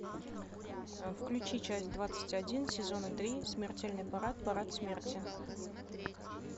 включи часть двадцать один сезона три смертельный парад парад смерти